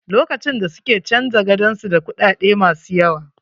Lokacin da suke canja gadon, sun ga kuɗaɗe ma su yaw.